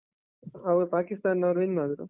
ಅವ್ರು ಪಾಕಿಸ್ತಾನ್ದವ್ರು win ಆದ್ರು.